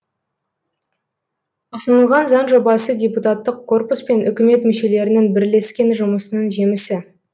ұсынылған заң жобасы депутаттық корпус пен үкімет мүшелерінің бірлескен жұмысының жемісі